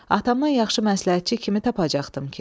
Atamdan yaxşı məsləhətçi kimi tapacaqdımi ki?